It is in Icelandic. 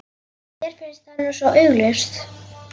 Mér finnst það nú svo augljóst.